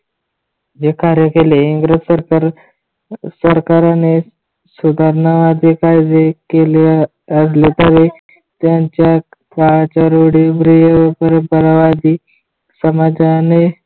देखरेख केले इंग्रज सरकारने सुधारणा आधी पाहिजे कार्य केल्या असल्याच्या त्यांच्या काळाच्या रूढीप्रिय परंपराही समाजाने